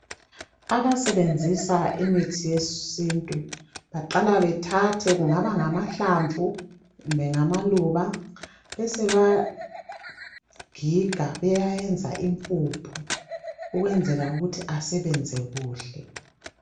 Abasebenzisa imithi yesintu baqala bethathe, kungaba ngamahlamvu, kumbe ngamaluba, besebewagiga bewayenza impuphu, ukwenzela ukuthi asebenze kuhle.